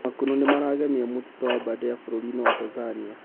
makunũ nĩmaragemia mũtitũ wa aberdare bũrũrinĩ wa Tanzania